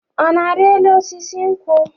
Ọ na-ari elu osisi nkwụ?